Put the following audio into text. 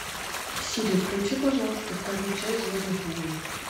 сири включи пожалуйста вторую часть звездных войн